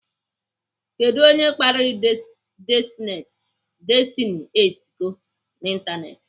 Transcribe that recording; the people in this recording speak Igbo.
Kedụ onye kpariri Destiny Etiko n'ịntanetị?